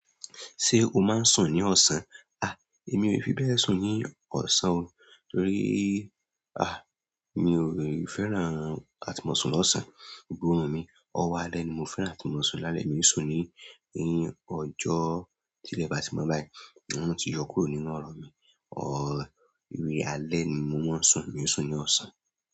Ṣé o máa ń sùn ní ọ̀sán? À, èmi ò fi bẹ́ẹ̀ sùn ní ọ̀sán o torí, à, mi ò fẹ́ran àtí mọ̀ sún lọ́sàn-án. Òòrùn mi, ọwọ́ alẹ́ ni mo fẹ́ran àtímọ̀sún. Lálẹ́, mi ò sùn ní ni ọjọ́. Tilẹ ba tí mo báyìí orún ti yọ kúrò nínú ọrọ mí òòrun, ni alẹ́ ni mo máa ń sùn, mi ò sùn ní ọ̀sán.